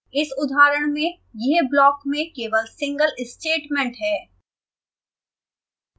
इस उदाहरण में यह block में केवल सिंगल statement है